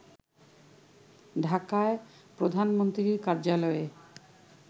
ঢাকায় প্রধানমন্ত্রীর কার্যালয়ে